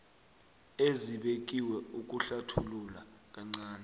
ezibekiwe ukuhlathulula kancani